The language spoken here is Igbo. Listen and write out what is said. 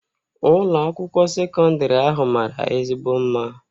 Ụlọ akwụkwọ sekọndrị ahụ mara ezigbo mma